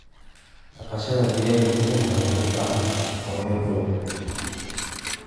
Dhaqashada digaaga gudaha waxay u baahan tahay kormeer dhow.